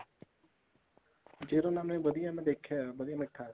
zero ਨਾਨਵੇਂ ਵਧੀਆ ਮੈਂ ਦੇਖਿਆ ਵਧੀਆ ਮਿੱਠਾ ਹੈ